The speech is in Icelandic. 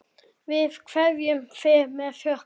Við kveðjum þig með þökkum.